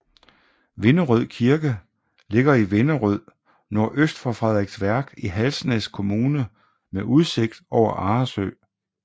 Vinderød Kirke ligger i Vinderød nordøst for Frederiksværk i Halsnæs Kommune med udsigt over Arresø